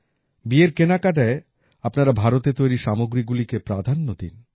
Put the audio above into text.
বিয়ের কেনাকাটায় আপনারা ভারতে তৈরী সামগ্রীগুলিকে প্রাধান্য দিন